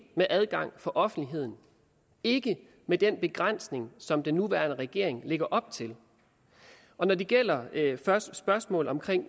med adgang for offentligheden ikke med den begrænsning som den nuværende regering lægger op til når det gælder spørgsmålet om